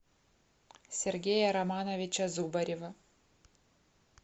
сергея романовича зубарева